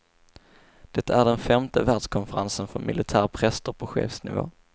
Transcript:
Det är den femte världskonferensen för militära präster på chefsnivå.